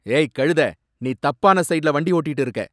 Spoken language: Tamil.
ஏய், கழுத! நீ தப்பான சைடுல வண்டி ஓட்டிட்டு இருக்க.